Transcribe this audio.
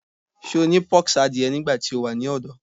Ṣe o ni pox adie nigbati o wa ni ọdọ?